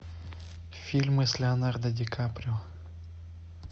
фильмы с леонардо ди каприо